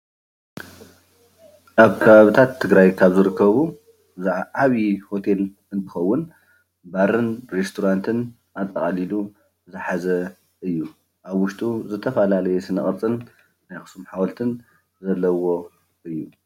ኣብ ከባቢታት ትግራይ ካብ ዝርከቡ እዚ ዓብይ ሆቴል እንትኮን ባርን ሬስቶራንት ኣጠቃሊሉ ዝሓዘ እዩ፡፡ ኣብ ውሽጡ ዝትፈላለዩ ስነ ቅርፅን ናይ ኣክሱም ሓወልቲ ዘለዎ እዩ፡፡